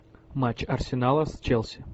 матч арсенала с челси